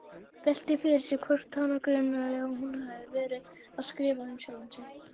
Veltir fyrir sér hvort hana gruni að hún hafi verið að skrifa um sjálfa sig.